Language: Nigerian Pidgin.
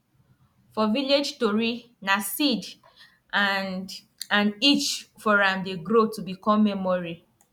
for village tori na seed and and each for am dey grow to become memory